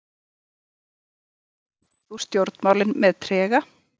Þorbjörn Þórðarson: Kveður þú stjórnmálin með trega?